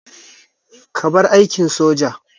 Ka bar aikin soja!